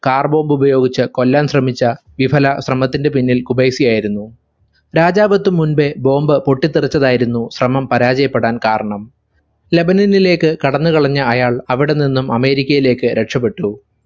carbomb ഉപയോഗിച്ച് കൊല്ലാൻ ശ്രമിച്ച വിഫല ശ്രമത്തിന്റെ പിന്നിൽ ഖുബൈസിയായിരുന്നു രാജാവെത്തും മുമ്പേ bomb പൊട്ടിത്തെറിച്ചതായിരുന്നു ശ്രമം പരാചയപ്പെടാൻ കാരണം ലെബനാനിലേക്ക് കടന്നു കളഞ്ഞ അയാൾ അവിടെ നിന്ന് അമേരിക്കയിലേക്ക് രക്ഷപ്പെട്ടു